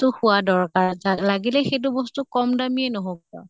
তো খোৱা দৰকাৰ যা লাগিলে সেইটো বস্তু কম দামিয়ে নহৌক কিয়।